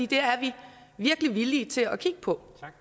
det er vi virkelig villige til at kigge på